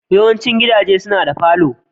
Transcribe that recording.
Yawaicin gidaje suna da falo.